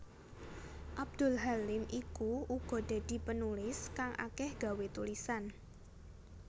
Abdul Halim iku uga dadi penulis kang akeh gawé tulisan